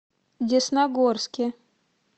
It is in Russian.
десногорске